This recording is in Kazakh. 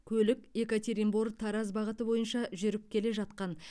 көлік екатеринбор тараз бағыты бойынша жүріп келе жатқан